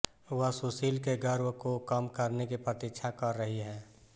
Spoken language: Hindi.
वह सुशील के गर्व को कम करने की प्रतीक्षा कर रही है